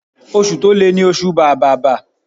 Oṣù to le ni oṣù bàbàbà.